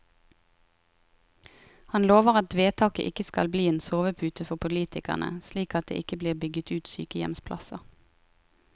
Han lover at vedtaket ikke skal bli en sovepute for politikerne, slik at det ikke blir bygget ut sykehjemsplasser.